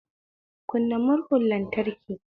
Kunna murhun lantraki